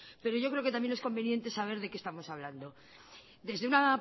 pero yo creo que también es conveniente saber de qué estamos hablando desde una